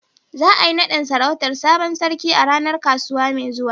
Za a yi naɗin sarautar sabon sarki a ranar kasuwa mai zuwa.